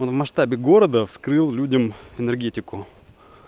в масштабе города вскрыл людям энергетику